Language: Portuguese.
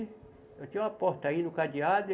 Eu tinha uma porta aí no cadeado.